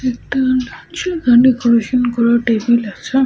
একটা চৌকানো করা টেবিল আছে।